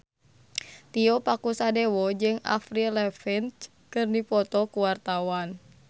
Tio Pakusadewo jeung Avril Lavigne keur dipoto ku wartawan